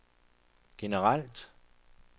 generelt